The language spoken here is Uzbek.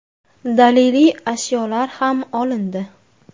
Daliliy ashyolar ham olindi.